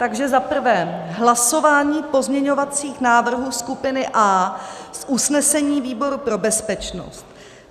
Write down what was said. Takže za prvé hlasování pozměňovacích návrhů skupiny A z usnesení výboru pro bezpečnost.